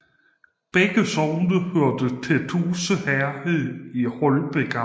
Begge sogne hørte til Tuse Herred i Holbæk Amt